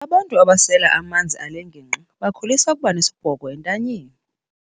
Abantu abasela amanzi ale ngingqi bakholisa ukuba nesibhoko ezintanyeni.